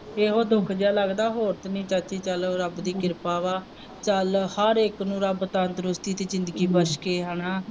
ਇਹੋ ਦੁੱਖ ਜਿਹਾ ਲੱਗਦਾ ਹੋਰ ਤਾਂ ਨਹੀਂ ਚਾਚੀ, ਚੱਲੋ ਰੱਬ ਦੀ ਕਿਰਪਾ ਵਾ, ਚੱਲ ਹਰ ਇੱਕ ਨੂੰ ਰੱਬ ਤੰਦਰੁਸਤੀ ਦੀ ਜ਼ਿੰਦਗੀ ਬਖਸ਼ੇ ਹਨਾ